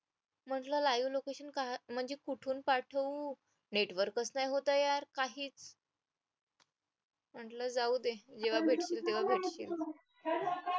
म्हटलं live location म्हणजे कुठून पाठवू network नाय होत आहे यार काहीच म्हटलं जाऊ दे जेव्हा भेटेल तेव्हा भेटेल